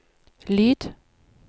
lyd